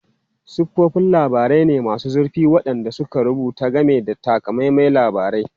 Siffofin labarai ne masu zurfi waɗanda suka rubuta game da takamaiman labarai.